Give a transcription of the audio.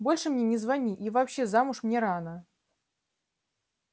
больше мне не звони и вообще замуж мне рано